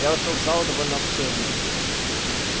я вошёл в залу довольно обширную